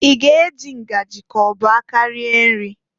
I ga- eji ngajị k'ọ bụ aka rie nri?